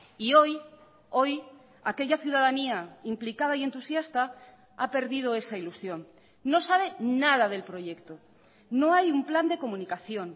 y hoy hoy aquella ciudadanía implicada y entusiasta ha perdido esa ilusión no sabe nada del proyecto no hay un plan de comunicación